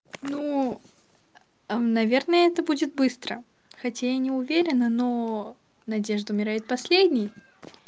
ну наверное это будет быстро хотя я не уверена но надежда умирает последней